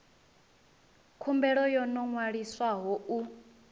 khumbelo yo no ṅwaliswaho u